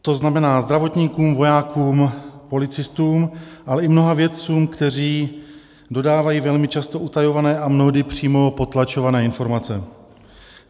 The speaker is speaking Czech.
To znamená zdravotníkům, vojákům, policistům, ale i mnoha vědcům, kteří dodávají velmi často utajované a mnohdy přímo potlačované informace.